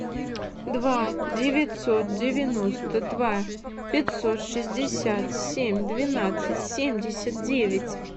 два девятьсот девяносто два пятьсот шестьдесят семь двенадцать семьдесят девять